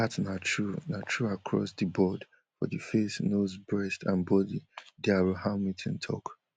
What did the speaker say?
dat na true na true across di board for di face nose breasts and body dr hamilton tok